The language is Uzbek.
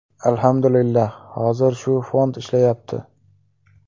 Alhamdulillah, hozir shu fond ishlayapti.